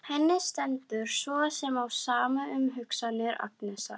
Henni stendur svo sem á sama um hugsanir Agnesar.